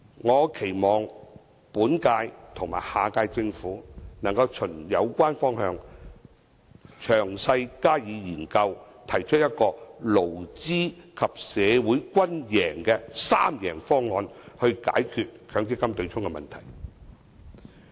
我期望本屆和下屆政府能循有關方向加以詳細研究，提出一個勞資及社會均贏的"三贏方案"，解決強積金對沖的問題。